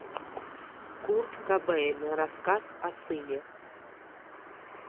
курт кобейн рассказ о сыне